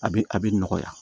A bɛ a bɛ nɔgɔya